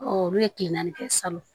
olu ye kile naani kɛ salon